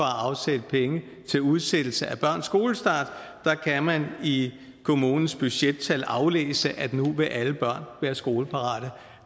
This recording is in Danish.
afsætte penge til udsættelse af børns skolestart der kan man i kommunens budgettal aflæse at nu vil alle børn være skoleparate